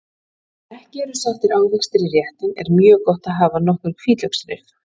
Ef ekki eru settir ávextir í réttinn er mjög gott að hafa nokkur hvítlauksrif.